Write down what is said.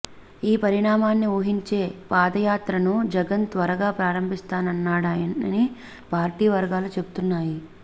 ఈ పరిణామాన్ని ఊహించే పాదయాత్రను జగన్ త్వరగా ప్రారంభిస్తున్నాడని పార్టీ వర్గాలు చెప్తున్నాయి